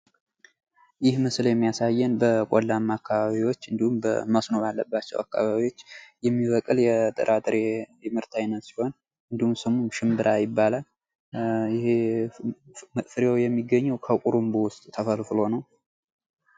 ይህ ምስል የሚያሳየን በቆላማ አካባቢዎች እንዲሁም በመስኖ ባላቸዉ አካባቢዎች ነዉ። የሚበቅል የጥራጥሬ ምርት አይነት ሲሆን እንዲሁም ስሙ ሽምብራ ይባላል። ፍሬዉ የሚገኘዉ ከቁርቦዉ ዉስጥ ተፈልፍሎ ነዉ።